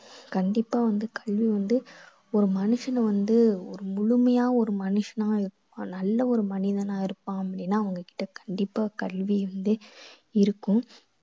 கண்டிப்பா வந்து கல்வி வந்து ஒரு மனுஷனை வந்து ஒரு முழுமையா ஒரு மனுஷனா நல்ல ஒரு மனிதனா இருப்பான் அப்படீன்னா அவங்க கிட்ட கண்டிப்பா கல்வி வந்து இருக்கும்.